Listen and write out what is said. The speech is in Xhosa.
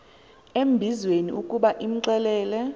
embizweni ukuba imxelele